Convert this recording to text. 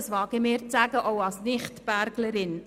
Das wage ich als Nicht-Berglerin zu sagen.